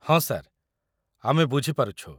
ହଁ, ସାର୍। ଆମେ ବୁଝିପାରୁଛୁ ।